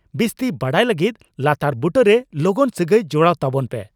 ᱵᱤᱥᱛᱤ ᱵᱟᱰᱟᱭ ᱞᱟᱹᱜᱤᱫ ᱞᱟᱛᱟᱨ ᱵᱩᱴᱟᱹᱨᱮ ᱞᱚᱜᱚᱱ ᱥᱟᱹᱜᱟᱹᱭ ᱡᱚᱲᱟᱣ ᱛᱟᱵᱚᱱ ᱯᱮ ᱾